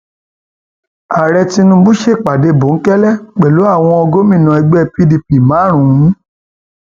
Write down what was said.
ààrẹ tinubu ṣèpàdé bòńkẹlẹ pẹlú àwọn gómìnà ẹgbẹ pdp márùn